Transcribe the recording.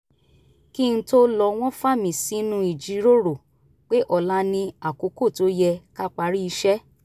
kí n tó lọ wọ́n fa mí sínú ìjíròrò pé ọ̀la ni àkókò tó yẹ ká parí iṣẹ́